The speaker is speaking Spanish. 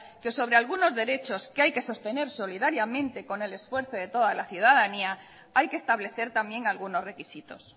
que sobre algunos derechos que hay que sostener solidariamente con el esfuerzo de toda la ciudadanía hay que establecer también algunos requisitos